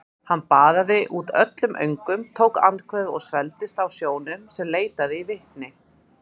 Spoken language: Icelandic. Hann baðaði út öllum öngum, tók andköf og svelgdist á sjónum sem leitaði í vitin.